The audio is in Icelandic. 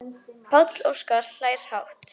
Páll Óskar hlær hátt.